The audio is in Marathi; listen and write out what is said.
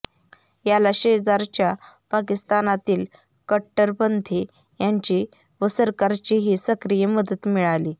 याला शेजारच्या पाकिस्तानातील कट्टरपंथी यांची व सरकारचीही सक्रिय मदत मिळाली